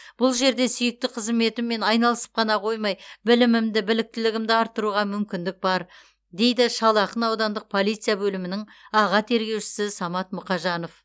бұл жерде сүйікті қызметіммен айналысып қана қоймай білімімді біліктілігімді арттыруға мүмкіндік бар дейді шал ақын аудандық полиция бөлімінің аға тергеушісі самат мұқажанов